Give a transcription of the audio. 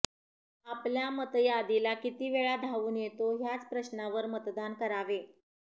आपल्या मतदातीला किती वेळा धावून येतो ह्याच प्रश्नावर मतदान करावे